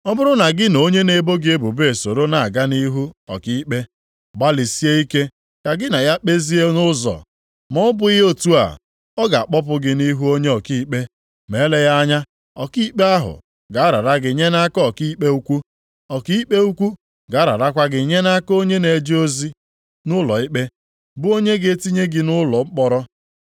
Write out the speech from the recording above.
Ọ bụrụ na gị na onye na-ebo gị ebubo esoro na-aga nʼihu ọkaikpe, gbalịsie ike ka gị na ya kpezie nʼụzọ, ma ọ bụghị otu a, ọ ga-akpọpụ gị nʼihu onye ọkaikpe, ma eleghị anya ọkaikpe ahụ ga-arara gị nye nʼaka ọkaikpe ukwu, ọkaikpe ukwu ga-ararakwa gị nye nʼaka onye na-eje ozi nʼụlọikpe, bụ onye ga-etinye gị nʼụlọ mkpọrọ.